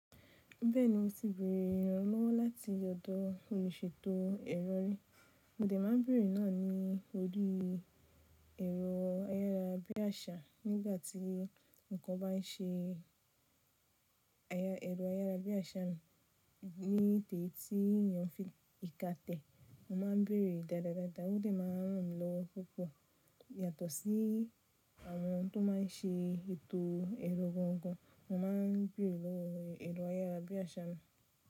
Bẹ́ẹ̀ni mo ti bẹ̀erẹ̀ ìrànlọ́wọ́ láti ọ̀dọ̀ olùṣètò ẹ̀rọ rí, mo de má a bẹ̀rẹ̀ náà ní ori ẹ̀rọ ayárabíàṣà nígbàtí nǹkan bá n ṣe ẹ̀rọ ayárabíàṣà ní ti eyi tí ènìyàn n fi ìka tẹ̀. Mo ma ń bẹ̀erẹ̀ dáadádada, o dè má n ran mi lọ́wo púpọ̀ yàtọ̀ sí àwọn tó ma n ṣe ètò ẹ̀rọ gaangaan, mo ma n bẹ̀rẹ̀ lọ ẹ̀rọ ayárabíàṣà.